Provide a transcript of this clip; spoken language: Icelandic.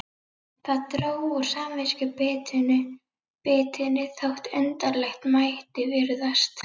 Það dró úr samviskubitinu þótt undarlegt mætti virðast.